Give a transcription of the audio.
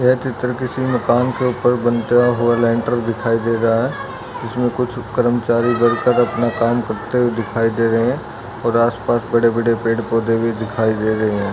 ये चित्र किसी कम के उपर बनता हुआ दिखाई दे रहा है इसमे कुछ कर्मचारी मिलकर अपना काम करते हुए दिखाई दे रहे है और आसपास बड़े बड़े पेड पौधे भी दिखाई दे रहे है।